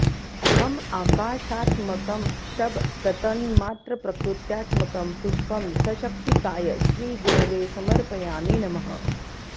हं आकाशात्मकं शब्दतन्मात्रप्रकृत्यात्मकं पुष्पं सशक्तिकाय श्रीगुरवे समर्पयामि नमः